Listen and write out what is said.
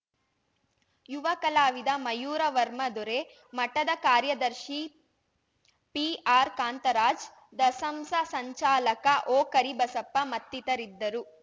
ಯುವ ಕಲಾವಿದ ಮಯೂರ ವರ್ಮ ದೊರೆ ಮಠದ ಕಾರ್ಯದರ್ಶಿ ಪಿಆರ್‌ಕಾಂತರಾಜ್‌ ದಸಂಸ ಸಂಚಾಲಕ ಓಕರಿಬಸಪ್ಪ ಮತ್ತಿತರಿದ್ದರು